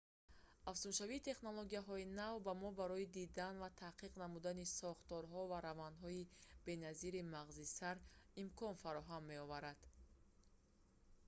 афзуншавии технологияҳои нав ба мо барои дидан ва таҳқиқ намудани сохторҳо ва равандҳои беназири мағзи сар имкон фароҳам меоварад